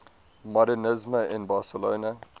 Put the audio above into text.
modernisme in barcelona